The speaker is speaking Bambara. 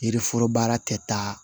Yiriforo baara tɛ taa